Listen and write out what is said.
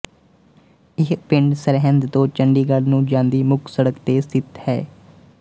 ਇਹ ਪਿੰਡ ਸਰਹਿੰਦ ਤੋਂ ਚੰਡੀਗੜ੍ਹ ਨੂੰ ਜਾਂਦੀ ਮੁੱਖ ਸੜਕ ਤੇ ਸਥਿਤ ਹੈ